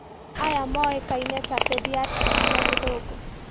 Aya moĩkaine ta pediatrics na gĩthũngũ